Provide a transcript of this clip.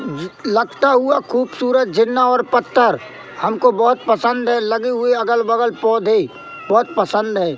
लगता हुआ खूबसूरत झुन्ना और पत्थर हमको बहोत पसंद है लगी हुई अगल बगल पौधे बहोत पसंद है।